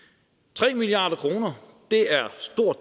tre milliard kroner